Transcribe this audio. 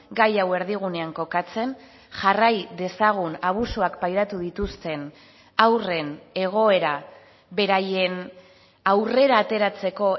gai hau erdigunean kokatzen jarrai dezagun abusuak pairatu dituzten haurren egoera beraien aurrera ateratzeko